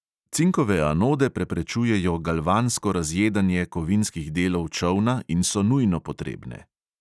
Cinkove anode preprečujejo galvansko razjedanje kovinskih delov čolna in so nujno potrebne.